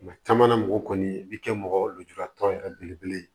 Mɛ caman na mɔgɔ kɔni i bɛ kɛ mɔgɔjuratɔ yɛrɛ belebele ye